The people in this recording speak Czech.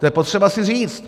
To je potřeba si říct.